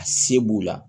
A se b'u la